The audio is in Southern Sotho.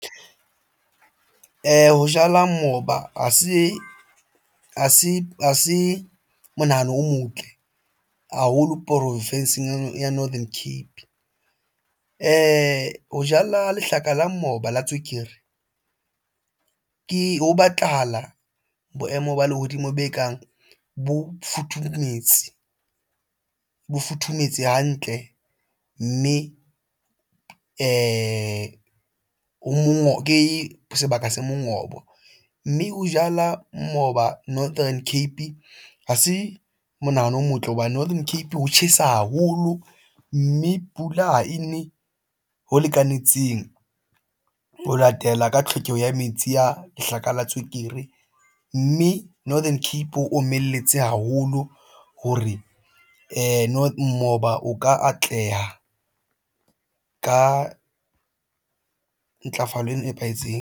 Ho jala moba ha se monahano o motle haholo porofenseng ya Northern Cape. Ho jala lehlaka la moba la tswekere ke ho batlahala boemo ba lehodimo be kang bo futhumetse hantle, mme ho mongobo ke sebaka se mongobo, mme ho jala moba. Northern Cape ha se monahano o motle hobane Northern Cape ho tjhesa haholo mme pula ha ene ho lekanetseng ho latela ka tlhokeho ya metsi a lehlaka la tswekere, mme Northern Cape o omelletse haholo. Ha re no moba o ka atleha ka ntlafalo e nepahetseng.